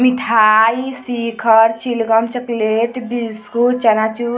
मिठाई शिखर चिलगम चकलेट बिस्कुट चनाचूर --